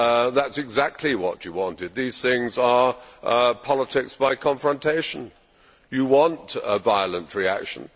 That is exactly what he wanted. These things are politics by confrontation he wanted a violent reaction.